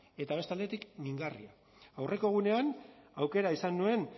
eta beste aldetik mingarria aurreko egunean aukera izan nuen